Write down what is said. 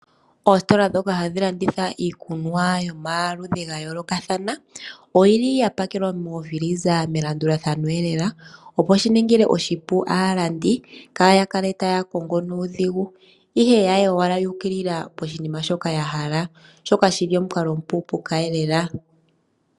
Oositola ndhoka hadhi landitha iikunwa yomaludhi ga yoolokathana oyi li ya pakelwa mokila yokutalaleka melandulathano lela opo shiningile oshipu aalandi kaaya kale taya kongo nuudhigu ihe yaye owala yuukilila poshinima mpoka ya hala shoka shili omukalo omupu lela.